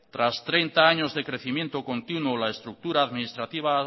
tras treinta años de crecimiento continuo la estructura administrativa